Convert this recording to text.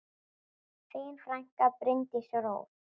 Þín frænka, Bryndís Rós.